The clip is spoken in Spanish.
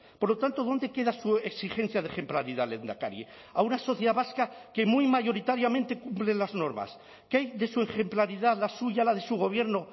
por lo tanto dónde queda su exigencia de ejemplaridad lehendakari a una sociedad vasca que muy mayoritariamente cumple las normas qué hay de su ejemplaridad la suya la de su gobierno